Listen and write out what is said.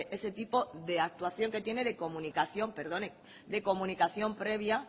ese tipo de actuación que tiene de comunicación perdone de comunicación previa